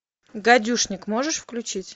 гадюшник можешь включить